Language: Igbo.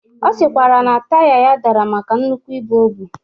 Ọ sịkwara na taya ya dara maka nnukwu ibu obu.